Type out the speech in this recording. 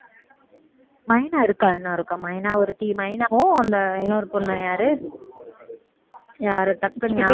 மைனா இருக்கா இன்னும் இருக்கா மைனா ஒருத்தி மைனாவும் அந்த இன்னொரு பொண்ணு யாரு யாரு டக்குனு ஞா~